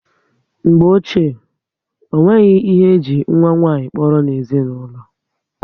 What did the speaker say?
Mgbe ochie, o nweghị ihe eji nwa nwanyị kpọrọ n'ezinaulo